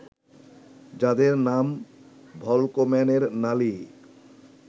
যাদের নাম ভল্কম্যানের নালি